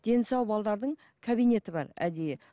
дені сау кабинеті бар әдейі